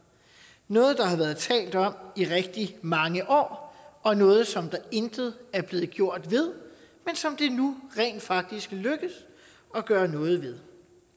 noget der har været talt om i rigtig mange år og noget som der intet er blevet gjort ved men som det nu rent faktisk lykkes at gøre noget ved